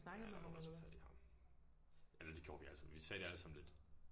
Ja der var nogen der tog fat i ham. Eller det gjorde vi alle sammen vi sagde det alle sammen lidt